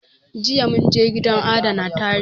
Jiya mun je gidan adana tarihi